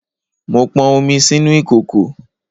Mo pọn omi sínú ìkòkò